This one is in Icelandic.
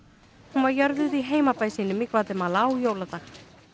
hún var jörðuð í heimabæ sínum í Gvatemala á jóladag